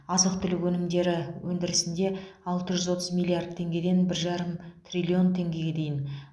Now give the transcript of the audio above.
азық түлік өнімдері өндірісінде алты жүз отыз миллиард теңгеден бір жарым триллон теңгеде дейін